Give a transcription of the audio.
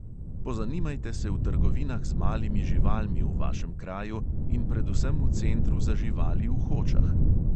Pozanimajte se v trgovinah z malimi živalmi v vašem kraju in predvsem v centru za živali v hočah.